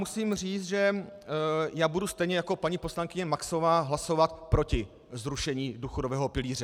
Musím říct, že já budu stejně jako paní poslankyně Maxová hlasovat proti zrušení důchodového pilíře.